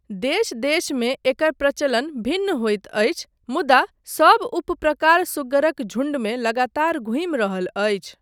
देश देशमे एकर प्रचलन भिन्न होइत अछि मुदा सब उपप्रकार सुग्गरक झुण्डमे लगातार घूमि रहल अछि।